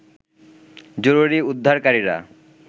জরুরী উদ্ধারকারীরা